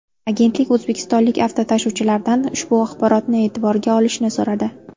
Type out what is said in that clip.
Agentlik o‘zbekistonlik avtotashuvchilardan ushbu axborotni e’tiborga olishni so‘radi.